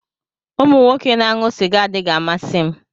Umu Nwoke na-aṅụ sịga adịghị amasị m